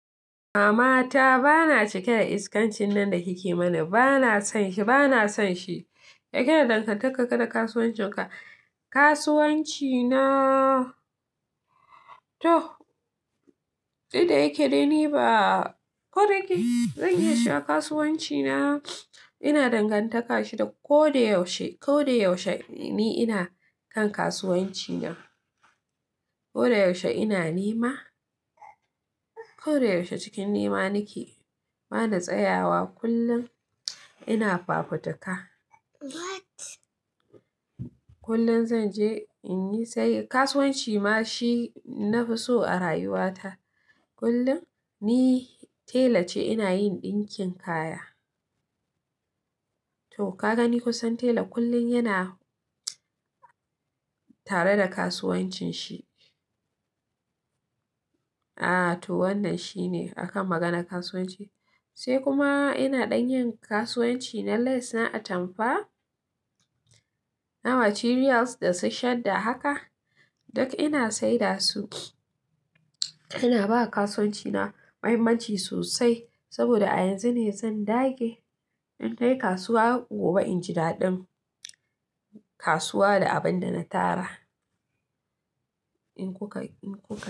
Mama ta bana cika da iskancin nan da kike mana, bana son shi, bana son shi. Yake na dangantaka ga da kasuwancin ka? Kasuwanci na, to, duk da yake dai ni ba, ko da yake zan iya cewa kasuwanci na, ina dangantaka shi da ko da yaushe, ko da yaushe ni ina kan kasuwanci na. Ko da yaushe ina nema. Ko da yaushe cikin nema nake. Bana tsayawa, kullum ina fafutuka. Kullum zan je in yi sai kasuwanci ma shi na fi so a rayuwa ta. Kullum ni tela ce ina yin ɗinkin kaya. To ka gani kusan tela kullum yana tare da kasuwancin shi. Aa to wannan shi ne a kan maganar kasuwanci. Sai kuma ina dan yin kasuwanci na less na atamfa, na material da su shadda haka, duk ina saida su. Ina ba kasuwanci na muhimmanci sosai saboda a yanzu ne zan dage. In kai kasuwa gobe inji daɗin kasuwa da abin da na tara. In kuka, in kuka.